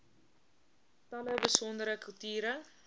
tale besondere kulture